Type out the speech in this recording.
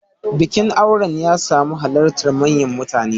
Bikin auren ya samu halartar manyan mutane.